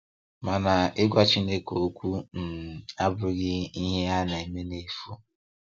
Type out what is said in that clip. Mana ịgwa Chineke okwu um abụghị ihe a na-eme nefu.